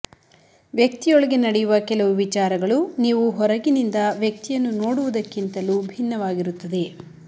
ವ್ಯಕ್ತಿಯೊಳಗೆ ನಡೆಯುವ ಕೆಲವು ವಿಚಾರಗಳು ನೀವು ಹೊರಗಿನಿಂದ ವ್ಯಕ್ತಿಯನ್ನು ನೋಡುವುದಕ್ಕಿಂತಲೂ ಭಿನ್ನವಾಗಿರುತ್ತದೆ